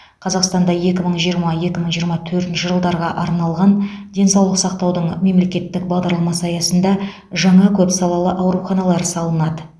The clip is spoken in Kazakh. қазақстанда екі мың жиырма екі мың жиырма төртінші жылдарға арналған денсаулық сақтаудың мемлекеттік бағдарламасы аясында жаңа көпсалалы ауруханалар салынады